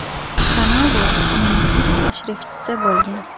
Ronaldu uning ilk tashrifchisi bo‘lgan.